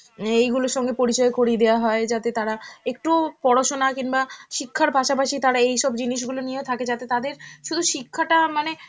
উম অ্যাঁ এইগুলোর সঙ্গে পরিচয় করিয়ে দেওয়া হয় যাতে তারা একটু পড়াশুনা কিংবা শিক্ষার পাশাপাশি তারা এইসব জিনিসগুলো নিয়েও থাকে যাতে তাদের শুধু শিক্ষাটা মানে,